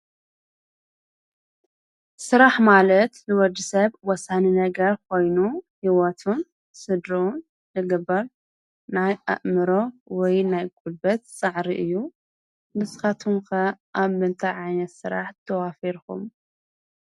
ስራሕ ሰብ ንህይወቱ ንምኽብካብ ዝገብሮ ተግባር እዩ። ብስራሕ ገንዘብ ይረክብን ክእለቱ ይዳብርን ይደግፍን። ስራሕ ንሕብረተሰብ ምዕባለ ዝሓግዝ እዩ።